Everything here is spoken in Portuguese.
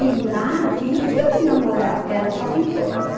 E lá tinha os dia de namorar, porque era só fim de semana.